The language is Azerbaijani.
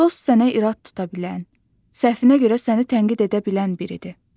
Dost sənə irad tuta bilən, səhvinə görə səni tənqid edə bilən biridir.